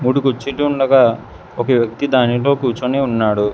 మూడు కుర్చీలు ఉండగా ఒక వ్యక్తి దానిలో కూర్చుని ఉన్నాడు.